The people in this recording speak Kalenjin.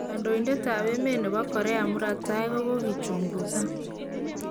Kandoidet ab emet nebo Korea murat tai kokokichunguzan